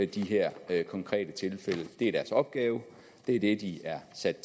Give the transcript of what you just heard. de her konkrete tilfælde det er deres opgave det er det de er sat